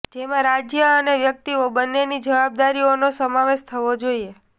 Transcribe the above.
જેમાં રાજ્ય અને વ્યક્તિઓ બંનેની જવાબદારીઓનો સમાવેશ થવો જોઈએ